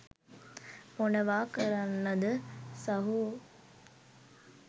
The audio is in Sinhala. මොනවා කරන්නද සහෝ